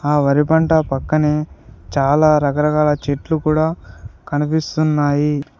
ఆ వరి పంట పక్కనే చాలా రకరకాల చెట్లు కూడా కనిపిస్తున్నాయి.